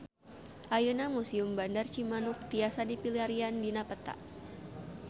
Ayeuna Museum Bandar Cimanuk tiasa dipilarian dina peta